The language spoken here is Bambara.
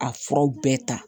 A furaw bɛɛ ta